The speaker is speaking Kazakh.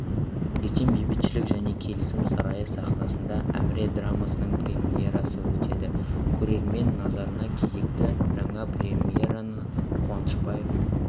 ертең бейбітшілік және келісім сарайы сахнасында әміре драмасының премьерасы өтеді көрермен назарына кезекті жаңа премьераны қуанышбаев